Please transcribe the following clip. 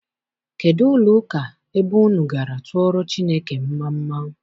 Kedụ ụlọ ụka ebe unu gara tụọrọ Chineke mmamma?